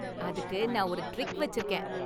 அதுக்கு நான் ஒரு ட்ரிக் வச்சிருக்கேன்.